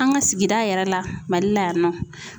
An ka sigida yɛrɛ la Mali la yan nɔ.